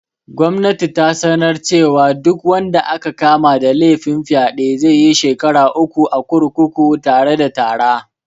Gwamnati ta sanar cewa duk wanda aka kama da laifin fyaɗe zaiyi shekara uku a kurkuku tare da tarra